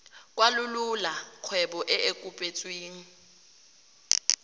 kwalolola kgwebo e e kopetsweng